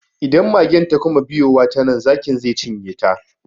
Idan magen ta kuma biyowa ta nan, zakin ze cinye ta.